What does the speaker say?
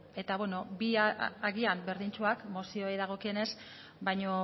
eta beno bi agian berdintsuak mozioei dagokionez baina